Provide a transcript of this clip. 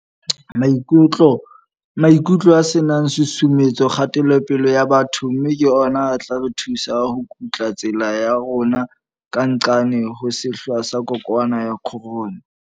Maikutlo a ne a susumetse kgatelopele ya batho mme ke ona a tla re thusa ho kutla tsela ya rona ka nqane ho sehla sa kokwanahloko ya corona.